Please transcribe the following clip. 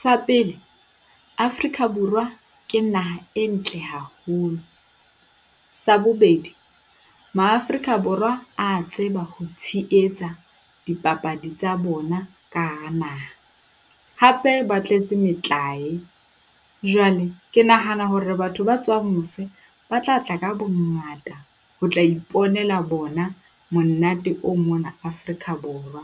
Sa pele, Afrika Borwa ke naha e ntle haholo. Sa bobedi, Maafrika Borwa a tseba ho tsheetsa dipapadi tsa bona ka hara naha, hape ba tletse metlae. Jwale ke nahana hore batho ba tswang mose ba tla tla ka bo ngata ho tla iponela bona, monate o mona Afrika Borwa.